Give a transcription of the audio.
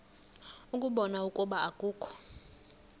ukubona ukuba akukho